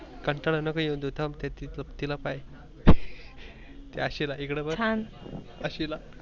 कंटाळा नको येउ देऊ थाम तिला पाहेय त्या आसीला इकड बग थाम आसीला